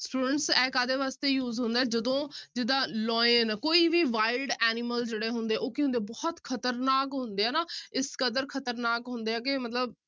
Students ਇਹ ਕਾਹਦੇੇ ਵਾਸਤੇ use ਹੁੰਦਾ ਹੈ ਜਦੋਂ ਜਿੱਦਾਂ lion ਕੋਈ ਵੀ wild animal ਜਿਹੜੇ ਹੁੰਦੇ ਆ ਉਹ ਕੀ ਹੁੰਦੇ ਆ ਬਹੁਤ ਖ਼ਤਰਨਾਕ ਹੁੰਦੇ ਆ ਨਾ ਇਸ ਕਦਰ ਖ਼ਤਰਨਾਕ ਹੁੰਦੇ ਆ ਕਿ ਮਤਲਬ